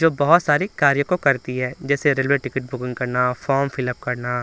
जो बहोत सारी कार्य को करती है जैसे रेलवे टिकिट बुकिंग करना फॉर्म फिलअप करना।